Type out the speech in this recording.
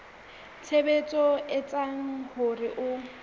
tshebetso e etsang hore ho